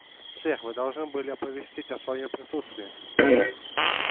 сэр вы должны были оповестить о своём присутствии